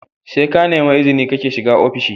SE kanemi izini kake shiga ofishi